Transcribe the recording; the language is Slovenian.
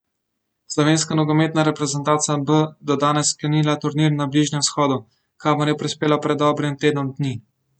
Slovenska nogometna reprezentanca B bo danes sklenila turnir na Bližnjem vzhodu, kamor je prispela pred dobrim tednom dni.